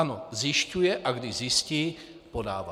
Ano, zjišťuje, a když zjistí, podává.